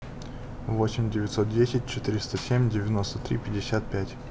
восемь девятьсот десять четыреста семь девяносто три пятьдесят пять